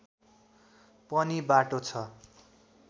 पनि बाटो छ